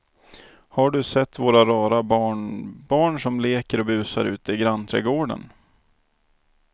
Har du sett våra rara barnbarn som leker och busar ute i grannträdgården!